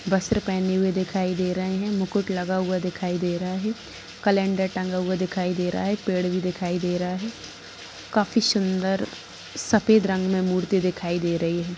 वस्त्र पहने हुए दिखाई दे रहे हैं मुकुट लगा हुआ दिखाई दे रहा है कैलेंडर टांगा गा वह दिखाई दे रहा है पेड़ भी दिखाई दे रहा है काफी सुंदर सफेद रंग में मूर्ति दिखाई दे रही है।